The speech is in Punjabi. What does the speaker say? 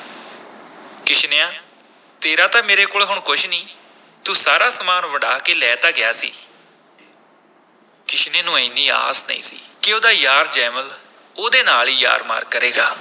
ਕਿਸ਼ਨਿਆ ਤੇਰਾ ਤਾਂ ਮੇਰੇ ਕੋਲ ਹੁਣ ਕੁਛ ਨੀ, ਤੂੰ ਸਾਰਾ ਸਾਮਾਨ ਵੰਡਾ ਕੇ ਲੈ ਤਾਂ ਗਿਆ ਸੀ ਕਿਸ਼ਨੇ ਨੂੰ ਐਨੀ ਆਸ ਨਹੀਂ ਸੀ ਕਿ ਉਹਦਾ ਯਾਰ ਜੈਮਲ ਉਹਦੇ ਨਾਲ ਹੀ ਯਾਰ ਮਾਰ ਕਰੇਗਾ।